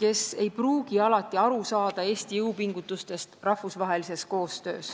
kes ei pruugi alati aru saada Eesti jõupingutustest rahvusvahelises koostöös.